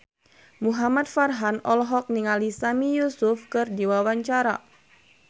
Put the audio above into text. Muhamad Farhan olohok ningali Sami Yusuf keur diwawancara